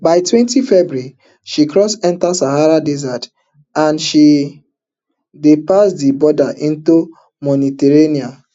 by twenty february she cross enta sahara desert and den pass di border into mauritania